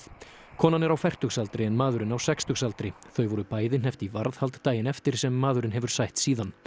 konan er á fertugsaldri en maðurinn á sextugsaldri þau voru bæði hneppt í varðhald daginn eftir sem maðurinn hefur sætt síðan